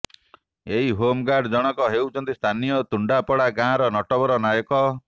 ଏହି ହୋମଗାର୍ଡ ଜଣକ ହେଉଛନ୍ତି ସ୍ଥାନୀୟ ତୁଣ୍ଡାପଡ଼ା ଗାଁର ନଟବର ନାୟକ